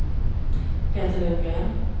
Peter Lundgren